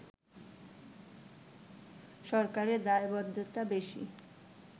সরকারের দায়বদ্ধতা বেশি